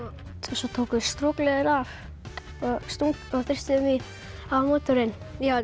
svo tókum við strokleðrið af og þrýstum því á mótorinn